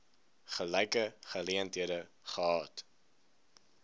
gelyke geleenthede gehad